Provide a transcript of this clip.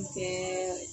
Kɛ